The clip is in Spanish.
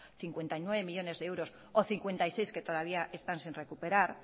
cincuenta y nueve millónes de euros o cincuenta y seis que todavía están sin recuperar